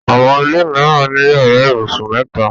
Àwọn ilé mìíràn ni yàrá ibùsùn mẹ́ta.